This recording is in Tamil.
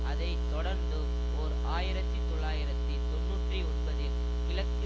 அதை தொடர்ந்தும் ஓர் ஆயிரத்தி தொள்ளாயிரத்தி தொன்னூற்றி ஒன்பதில் கிழக்கு